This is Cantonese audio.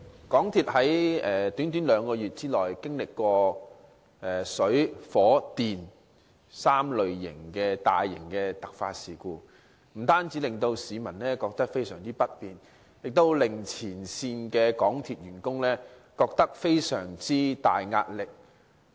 港鐵在短短兩個月內經歷過關乎水、火、電3類大型突發事故，不單對市民造成大大不便，亦對港鐵前線員工構成極大壓力。